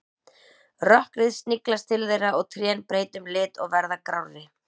Rökkrið sniglast til þeirra og trén breyta um lit og verða grárri.